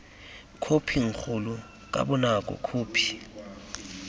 khophing kgolo ka bonako khophi